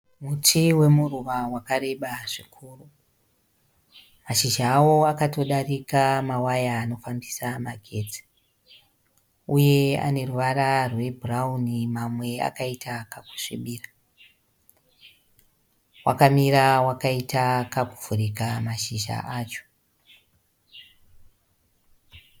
Muti wemuruva wakareba zvikuru. Mashizha awo akatodarika mawaya anofambisa magetsi. Uye aneruvara rwune bhurawuni mamwe akaita kakusvibira. Wakamira wakaita kakuvhurika mashizha acho.